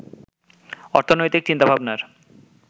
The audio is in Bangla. অর্থনৈতিক চিন্তাভাবনার